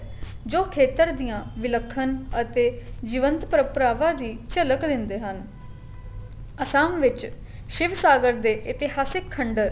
ਜੋ ਖੇਤਰ ਦੀਆਂ ਵਿੱਲਖਣ ਅਤੇ ਜੀਵੰਤ ਪ੍ਰਮਪਰਾਵਾ ਦੀ ਝਲਕ ਦਿੰਦੇ ਹਨ ਅਸਾਮ ਵਿੱਚ ਸ਼ਿਵ ਸਾਗਰ ਦੇ ਇਤਿਹਾਸਿਕ ਖੰਡਰ